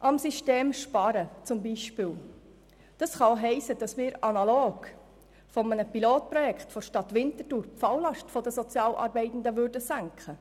Am System sparen kann auch heissen, analog einem Pilotprojekt der Stadt Winterthur die Falllast der Sozialarbeitenden zu senken.